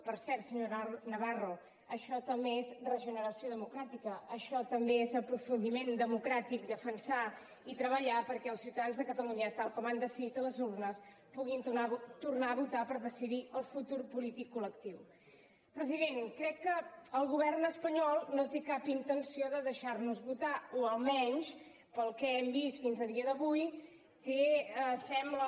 per cert senyor navarro això també és regeneració democràtica això també és aprofundiment democràtic defensar i treballar perquè els ciutadans de catalunya tal com han decidit a les urnes puguin tornar a votar per decidir el futur polític colpresident crec que el govern espanyol no té cap intenció de deixar nos votar o almenys pel que hem vist fins a dia d’avui té sembla